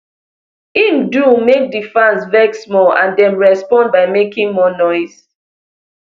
im do make di fans vex more and dem respond by making more noise